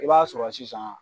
I b'a sɔrɔ sisan